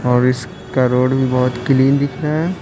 और इस का रोड भी बहुत क्लीन दिख रहा है।